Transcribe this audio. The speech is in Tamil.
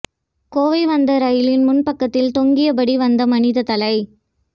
கோவை வந்த ரயிலின் முன் பக்கத்தில் தொங்கியபடி வந்த மனித தலை